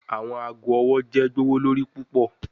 Awọn aago ọwọ jẹ gbowolori pupọ